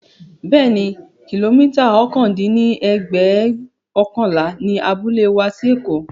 Bẹẹni, kilomita ọ̀kan dín ní ẹ̀ẹ́dẹ́gbẹ́ọ̀kànlá ni abúlé wa sí èkó